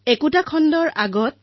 এটা toll free নম্বৰো আছে 1800117800